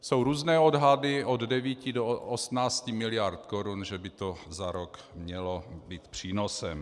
Jsou různé odhady, od 9 do 18 miliard korun, že by to za rok mělo být přínosem.